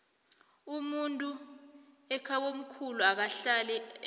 umuntu ekhabomkhulu akahlali emsamo